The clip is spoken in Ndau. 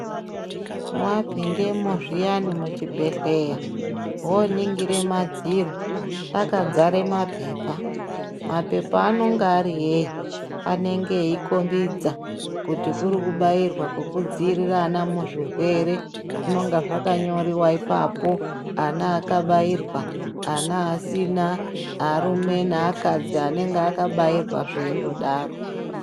Wapindamwo zviyani muchibhedhleya woningire madziro akadzara maphepha . Maphepha anonga ari eyi, anenge eyikombidza kuti kurikubairwa kwekudziirira ana muzvirwere zvinonga zvakanyoriwa ipapo. Ana akabairwa ana asina arume neakadzi anenge akabairwa zveindodaro